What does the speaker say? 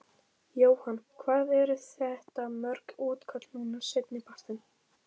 Jóhann: Hvað eru þetta mörg útköll núna seinni partinn?